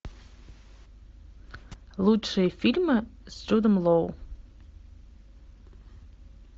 лучшие фильмы с джудом лоу